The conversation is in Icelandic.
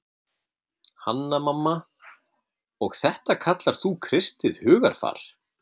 Hanna-Mamma:- Og þetta kallar þú kristið hugarfar.